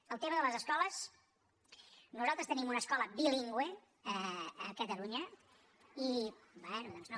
en el tema de les escoles nosaltres tenim una escola bilingüe a catalunya no